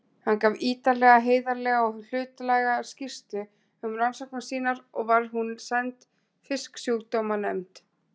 Hann gaf ítarlega, heiðarlega og hlutlæga skýrslu um rannsóknir sínar og var hún send Fisksjúkdómanefnd